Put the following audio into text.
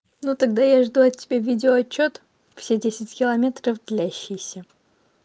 ну тогда я жду от тебя видео отчёт все десять километров длящиеся